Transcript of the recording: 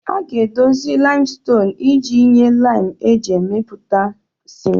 A ga-edozi limestone iji nye lime eji emepụta ciment